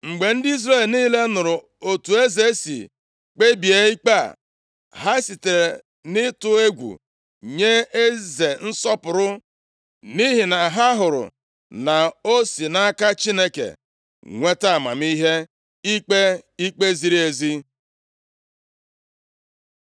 Mgbe ndị Izrel niile nụrụ otu eze si kpebie ikpe a, ha sitere nʼịtụ egwu nye eze nsọpụrụ, nʼihi na ha hụrụ na o si nʼaka Chineke nweta amamihe + 3:28 \+xt 1Ez 3:9,11-12; 2Ih 1:12; Dan 1:17; Kọl 2:2,3\+xt* ikpe ikpe ziri ezi.